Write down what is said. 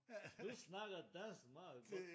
Du snakker dansk meget godt